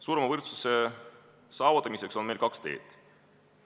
Suurema võrdsuse saavutamiseks on meil kaks teed.